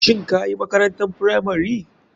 Shin kayi makrantar firamari?